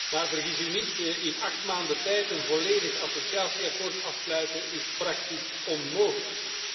Maar vergis u niet in acht maanden tijd een volledig associatieakkoord sluiten is praktisch onmogelijk.